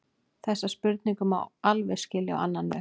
Þessa spurningu má einnig skilja á annan veg.